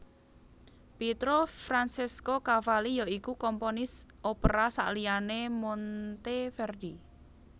Pietro Francesco Cavalli ya iku komponis opera sakliyané Monteverdi